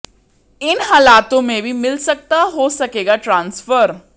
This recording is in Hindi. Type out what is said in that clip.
इन हालातों में भी मिल सकता हो सकेगा ट्रांसफर